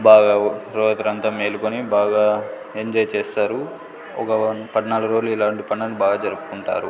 బాగా రాత్రంతా మేలుకొని బాగా ఎంజాయ్ చేస్తారు ఒక పడ్నాలుగు రోజులు ఇలాంటి పనులు బా జరుపుకుంటారు.